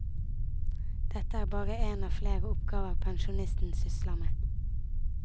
Dette er bare en av flere oppgaver pensjonisten sysler med.